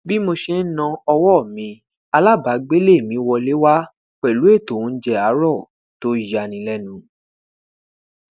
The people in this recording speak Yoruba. bi mo ṣe n na ọwọ mi alabaagbele mi wọle wa pẹlu eto ounjẹ aarọ to yani lẹnu